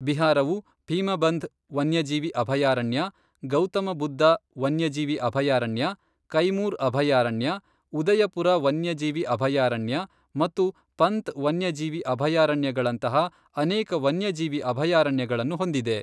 ಬಿಹಾರವು ಭೀಮಬಂಧ್ ವನ್ಯಜೀವಿ ಅಭಯಾರಣ್ಯ, ಗೌತಮ ಬುದ್ಧ ವನ್ಯಜೀವಿ ಅಭಯಾರಣ್ಯ, ಕೈಮೂರ್ ಅಭಯಾರಣ್ಯ, ಉದಯಪುರ ವನ್ಯಜೀವಿ ಅಭಯಾರಣ್ಯ ಮತ್ತು ಪಂತ್ ವನ್ಯಜೀವಿ ಅಭಯಾರಣ್ಯಗಳಂತಹ ಅನೇಕ ವನ್ಯಜೀವಿ ಅಭಯಾರಣ್ಯಗಳನ್ನು ಹೊಂದಿದೆ.